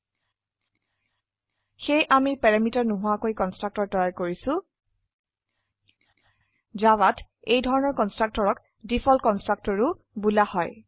সেয়ে আমিপ্যাৰামিটাৰ নোহোৱাকৈকন্সট্ৰকটৰ তৈয়াৰ কৰিছো জাভাত এইধৰনৰ কন্সট্ৰকটৰকডিফল্ট কন্সট্ৰকটৰও বোলা হয়